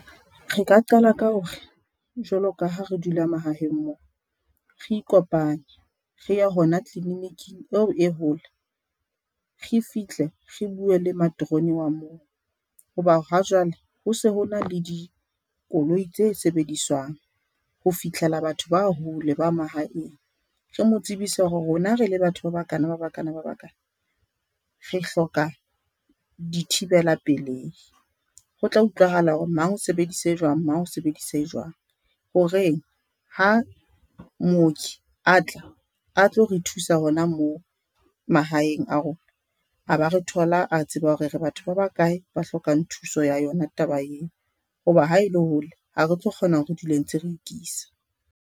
Re ka qala ka hore jwalo ka ha re dula mahaheng mo, re ikopanye re ye hona tliliniking eo e hole re fihle re buwe le materoni wa moo hoba ha jwale ho se ho na le dikoloi tse sebediswang ho fihlela batho ba hole ba mahaeng. Re mo tsebise hore rona re le batho ba ba kana, ba ba kana, ba ba kana re hloka di thibela pelehi. Ho tla utlwahala hore mang o sebedisa e jwang, mang sebedisa e jwang horeng, ha mooki a tla a tlo re thusa hona mo mahaeng a rona a ba re thola a tseba hore re batho ba ba kae ba hlokang thuso ya yona taba eo ho ba ha e le hole ha re tlo kgona hore re dule ntse re ikisa.